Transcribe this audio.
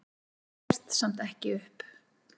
Gefst samt ekki upp.